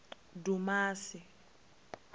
dumasi